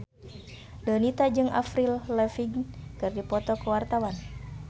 Donita jeung Avril Lavigne keur dipoto ku wartawan